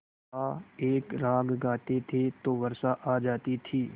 का एक राग गाते थे तो वर्षा आ जाती थी